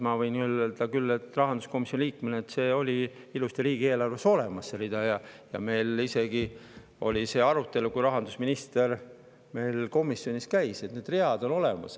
Ma võin küll öelda rahanduskomisjoni liikmena, et see rida oli ilusti riigieelarves olemas ja kui rahandusminister meil komisjonis käis, siis meil isegi oli arutelu, et see rida on olemas.